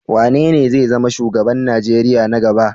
Wanene zai zama shugaban Najeriya na gaba?